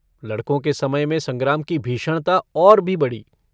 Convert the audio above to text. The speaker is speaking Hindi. लड़कों के समय में संग्राम की भीषणता और भी बढ़ी।